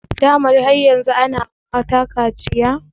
Dama har yanzu ana yi ma mata kaciya ne?